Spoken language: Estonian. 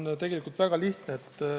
See on tegelikult väga lihtne.